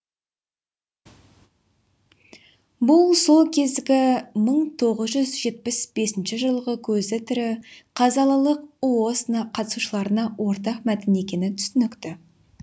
бұл сол кезгі мың тоғыз жүз жетпіс бесінші жылғы көзі тірі қазалылық ұос на қатысушыларға ортақ мәтін екені түсінікті